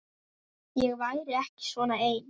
Ég væri ekki svona ein.